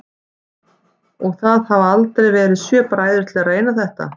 Og það hafa aldrei verið sjö bræður til að reyna þetta?